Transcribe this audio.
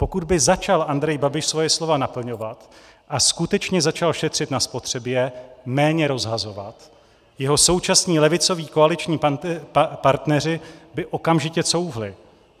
Pokud by začal Andrej Babiš svoje slova naplňovat a skutečně začal šetřit na spotřebě, méně rozhazovat, jeho současní levicoví koaliční partneři by okamžitě couvli.